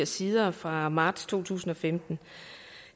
sider fra marts to tusind og femten